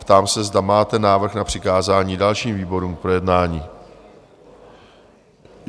Ptám se, zda máte návrh na přikázání dalším výborům k projednání?